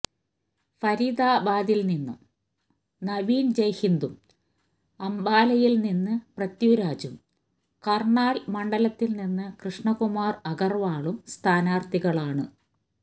ഫരീദാബാദിൽനിന്നു നവീൻ ജയ്ഹിന്ദും അംബാലയിൽനിന്നു പൃഥ്വിരാജും കർണാൽ മണ്ഡലത്തിൽനിന്ന് കൃഷ്ണകുമാർ അഗർവാളും സ്ഥാനാർഥികളാണു